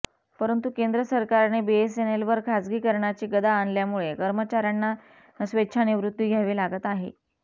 परंतु केंद्र सरकारने बीएसएनएलवर खासगीकरणाची गदा आणल्यामुळे कर्मचाऱयांना स्वेच्छानिवृत्ती घ्यावी लागत आहे